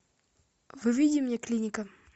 выведи мне клиника